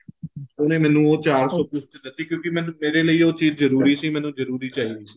ਉਹਨੇ ਮੈਨੂੰ ਉਹ ਚਾਰ ਸੋ ਕੁੱਝ ਚ ਦਿੱਤੀ ਕਿਉਂਕਿ ਮੈਨੂੰ ਉਹ ਮੇਰੇ ਲਈ ਉਹ ਚੀਜ਼ ਜਰੂਰੀ ਸੀ ਮੈਨੂੰ ਜਰੂਰੀ ਚਾਹੀਦੀ ਸੀ